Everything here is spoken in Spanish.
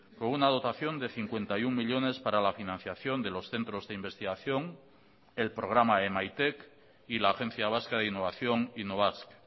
con una dotación de cincuenta y uno millónes para la financiación de los centros de investigación el programa emaitek y la agencia vasca de innovación innobasque